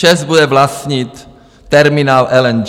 ČEZ bude vlastnit terminál LNG.